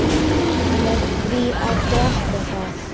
með því að drekka það